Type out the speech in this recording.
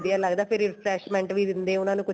ਲੱਗਦਾ refreshment ਵੀ ਦਿੰਦੇ ਏ ਉਹਨਾ ਨੂੰ ਕੁੱਝ